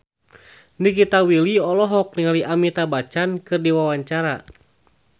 Nikita Willy olohok ningali Amitabh Bachchan keur diwawancara